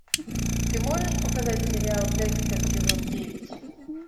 ты можешь показать сериал декстер сезон девять